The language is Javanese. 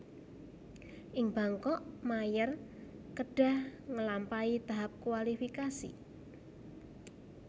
Ing Bangkok Mayer kedhah ngelampahi tahap kualifikasi